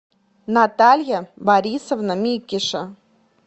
наталья борисовна микиша